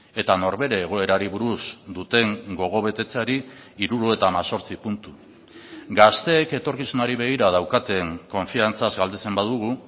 eta norbere egoerari buruz duten gogobetetzeari hirurogeita hemezortzi puntu gazteek etorkizunari begira daukaten konfiantzaz galdetzen badugu